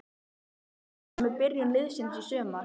Ertu ánægður með byrjun liðsins í sumar?